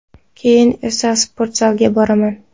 Keyin esa sportzalga boraman.